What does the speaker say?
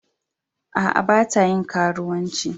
Aa, ba ta yin karuwanci.